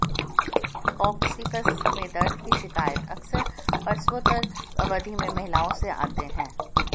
coccyx में दर्द की शिकायतें अक्सर प्रसवोत्तर अवधि में महिलाओं से आते हैं